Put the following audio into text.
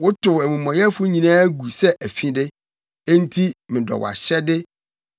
Wotow amumɔyɛfo nyinaa gu sɛ afide; enti medɔ wʼahyɛde.